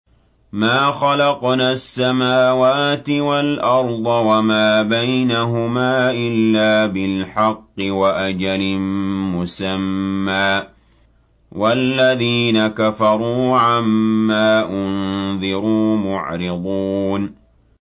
مَا خَلَقْنَا السَّمَاوَاتِ وَالْأَرْضَ وَمَا بَيْنَهُمَا إِلَّا بِالْحَقِّ وَأَجَلٍ مُّسَمًّى ۚ وَالَّذِينَ كَفَرُوا عَمَّا أُنذِرُوا مُعْرِضُونَ